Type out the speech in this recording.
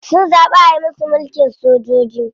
Sun zaɓi ayi musu mulkin sojoji.